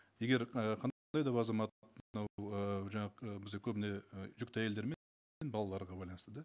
егер ы да бір азамат мынау ііі жаңа бізге көбіне і жүкті әйелдер балаларға байланысты да